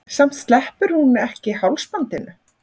Samt sleppir hún ekki hálsbandinu.